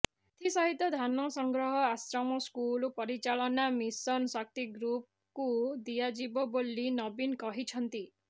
ଏଥିସହିତ ଧାନ ସଂଗ୍ରହ ଆଶ୍ରମ ସ୍କୁଲ ପରିଚାଳନା ମିଶନ ଶକ୍ତି ଗ୍ରୁପକୁ ଦିଆଯିବ ବୋଲି ନବୀନ କହିଛନ୍ତି